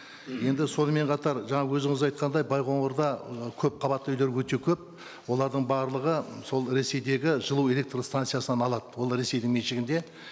енді сонымен қатар жаңа өзіңіз айтқандай байқоңырда ы көпқабатты үйлер өте көп олардың барлығы сол ресейдегі жылу электр станциясынан алады ол ресейдің меншігінде